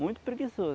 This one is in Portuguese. Muito preguiçoso.